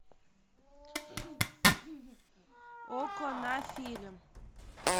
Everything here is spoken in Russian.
окко на фильм